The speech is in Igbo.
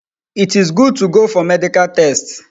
It is good to go for medical tests